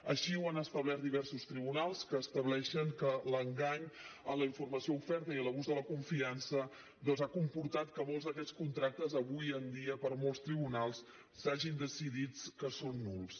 així ho han establert diversos tribunals que estableixen que l’engany a la informació oferta i l’abús de la confiança doncs han comportat que molts d’aquests contractes avui en dia per molts tribunals s’hagi decidit que són nuls